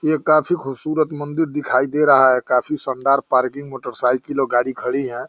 ये काफी खूबसूरत मंदिर दिखाई दे रहा है। काफी शानदार पार्किंग मोटरसाइकिल व गाड़ी खड़ी है।